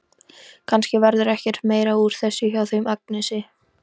Kannski verður ekkert meira úr þessu hjá þeim Agnesi.